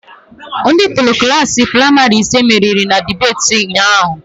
Ndị Pupilụ Klassị pramarị ise meriri na debeti ụnyaahụ